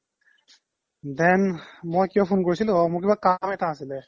then মই কিয় phone কৰিছিলো অ মোৰ কিবা কাম এটা আছিলে